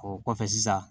O kɔfɛ sisan